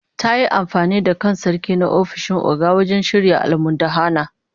Ta yi amfani da kan Sarki na ofishin Oga wajen shirya almundahana